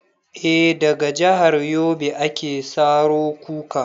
Eh, daga jahar yobe ake saro kuka